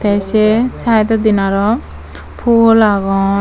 te sey side odin aro pul agon.